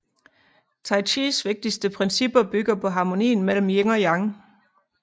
Tai Chis vigtigste principper bygger på harmonien mellem Yin og yang